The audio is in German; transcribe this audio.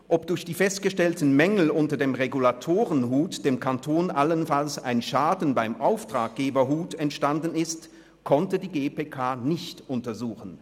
Ob durch die festgestellten Mängel unter dem Regulatoren-Hut dem Kanton allenfalls ein Schaden beim Auftraggeber-Hut entstanden ist, konnte die GPK nicht untersuchen.